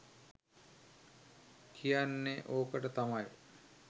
කියන්නේ ඕකට තමයි.